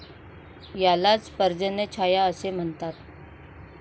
यालाच पर्जन्यछाया असे म्हणतात.